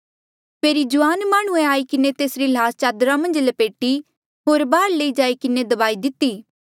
फेरी जुआन माह्णुंऐ आई किन्हें तेसरी ल्हास चदरा मन्झ लपेटी होर बाहार लई जाई किन्हें दबाई दिती